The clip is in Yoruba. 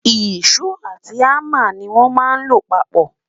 iso àti hamá ní wón má ló papó